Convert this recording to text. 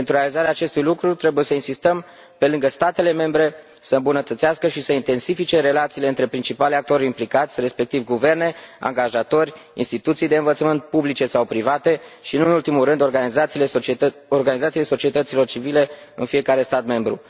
Pentru realizarea acestui lucru trebuie să insistăm pe lângă statele membre să îmbunătățească și să intensifice relațiile între principalii actori implicați, respectiv guverne, angajatori, instituții de învățământ publice sau private și, nu în ultimul rând, organizațiile societăților civile în fiecare stat membru.